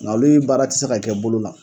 Ŋa olu in baara ti se ka kɛ bolo la